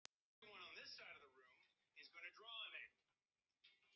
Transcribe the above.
Ég gríp þessar línur á lofti.